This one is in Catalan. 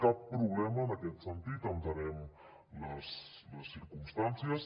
cap problema en aquest sentit entenem les circumstàncies